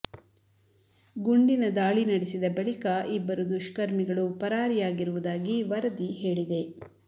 ಗುಂಡಿನ ದಾಳಿ ನಡೆಸಿದ ಬಳಿಕ ಇಬ್ಬರು ದುಷ್ಕರ್ಮಿಗಳು ಪರಾರಿಯಾಗಿರುವುದಾಗಿ ವರದಿ ಹೇಳಿದೆ